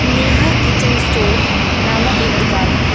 Neha kitchen store नामक एक दुकान है।